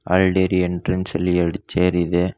ಹಾಲ dairy entrance ಲಿ ಎರಡು ಚೇರ್ ಇದೆ.